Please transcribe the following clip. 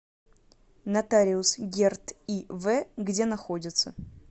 нотариус гердт ив где находится